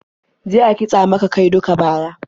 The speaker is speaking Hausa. Je a kitsa mika kai duk baya.